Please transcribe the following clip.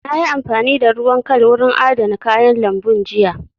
Na yi amfani da ruwan kal wurin adana kayan lambun jiya